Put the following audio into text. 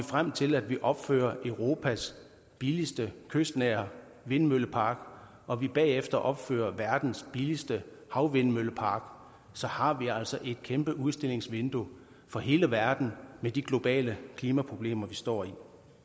frem til at vi opfører europas billigste kystnære vindmøllepark og vi bagefter opfører verdens billigste havvindmøllepark så har vi altså et kæmpe udstillingsvindue for hele verden med de globale klimaproblemer vi står i